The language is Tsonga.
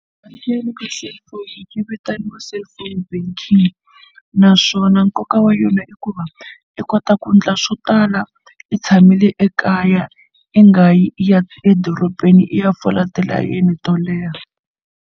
Bangi ya le ka cellphone yi vitaniwa Cellphone Banking naswona nkoka wa yona i ku va i kota ku endla swo tala i tshamile ekaya i nga yi ya edorobeni i ya fola tilayini to leha.